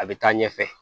A bɛ taa ɲɛfɛ